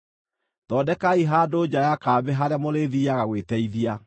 Thondekai handũ nja ya kambĩ harĩa mũrĩthiiaga gwĩteithia.